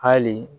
Hali